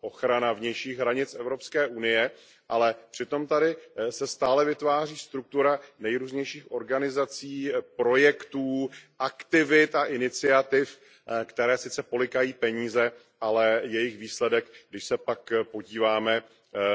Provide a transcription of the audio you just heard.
ochrana vnějších hranic EU, ale přitom tady se stále vytváří struktura nejrůznějších organizací, projektů, aktivit a iniciativ, které sice polykají peníze, ale jejich výsledek, když se pak podíváme